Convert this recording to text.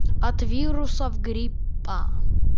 от вирусов гриппа